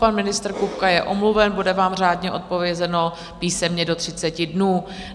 Pan ministr Kupka je omluven, bude vám řádně odpovězeno písemně do 30 dnů.